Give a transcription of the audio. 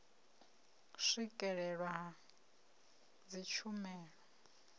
na u swikelelwa ha dzitshumelo